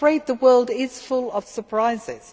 I am afraid the world is full of surprises.